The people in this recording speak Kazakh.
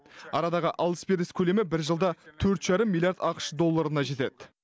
арадағы алыс беріс көлемі бір жылда төрт жарым миллиард ақш долларына жетеді